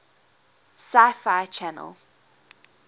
sci fi channel